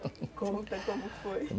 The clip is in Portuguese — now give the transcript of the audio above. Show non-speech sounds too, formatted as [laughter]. [laughs] Conta como foi.